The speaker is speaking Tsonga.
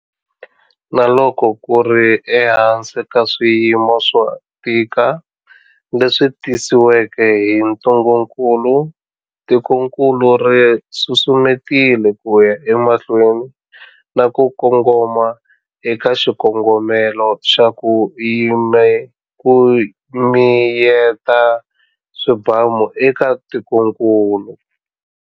Na loko ku ri ehansi ka swiyimo swo tika leswi tisiweke hi ntungukulu, tikokulu ri susumetile ku ya emahlweni na ku kongoma eka xikongomelo xa 'ku miyeta swibamu' eka tikokulu.